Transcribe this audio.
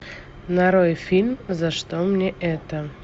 нарой фильм за что мне это